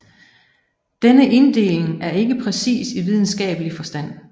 Denne inddeling er ikke præcis i videnskabelig forstand